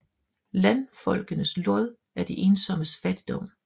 Randfolkenes Lod er de ensommes Fattigdom